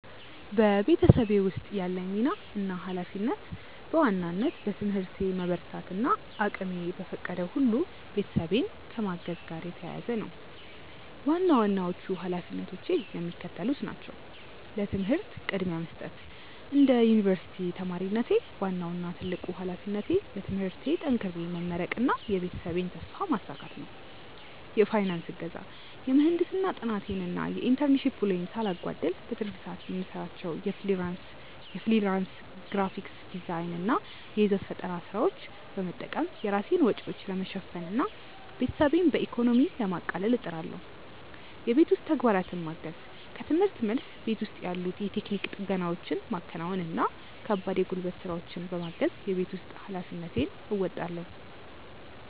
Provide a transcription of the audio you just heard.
በቤተሰቤ ውስጥ ያለኝ ሚና እና ኃላፊነት በዋናነት በትምህርቴ መበርታት እና እቅሜ በፈቀደው ሁሉ ቤተሰቤን ከማገዝ ጋር የተያያዘ ነው። ዋና ዋናዎቹ ኃላፊነቶቼ የሚከተሉት ናቸው፦ ለትምህርት ቅድሚያ መስጠት፦ እንደ ዩኒቨርሲቲ ተማሪነቴ፣ ዋናው እና ትልቁ ኃላፊነቴ በትምህርቴ ጠንክሬ መመረቅና የቤተሰቤን ተስፋ ማሳካት ነው። የፋይናንስ እገዛ፦ የምህንድስና ጥናቴን እና የኢንተርንሺፕ ውሎዬን ሳላጓድል፣ በትርፍ ሰዓቴ የምሰራቸውን የፍሪላንስ ግራፊክ ዲዛይን እና የይዘት ፈጠራ ስራዎች በመጠቀም የራሴን ወጪዎች ለመሸፈን እና ቤተሰቤን በኢኮኖሚ ለማቃለል እጥራለሁ። የቤት ውስጥ ተግባራትን ማገዝ፦ ከርምህርት መልስ፣ ቤት ውስጥ ያሉ የቴክኒክ ጥገናዎችን ማከናወን እና ከባድ የጉልበት ስራዎችን በማገዝ የቤት ውስጥ ኃላፊነቴን እወጣለሁ።